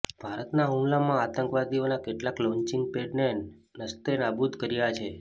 ભારતના હુમલામાં આતંકવાદીઓના કેટલાક લોન્ચિંગ પેડને નસ્તેનાબૂદ કર્યા છે